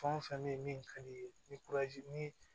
Fɛn o fɛn bɛ yen min ka di i ye ni ni